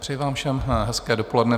Přeji vám všem hezké dopoledne.